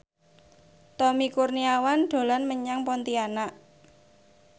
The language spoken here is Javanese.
Tommy Kurniawan dolan menyang Pontianak